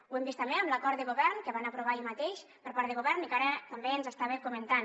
ho hem vist també amb l’acord de govern que van aprovar ahir mateix per part de govern i que ara també ens estava comentant